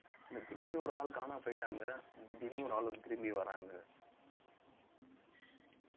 இல்ல திடீர்னு ஒரு ஆள் காணாம போயிட்டாங்க திடீர்னு ஒரு ஆள் வந்து திரும்பி வர்றாங்க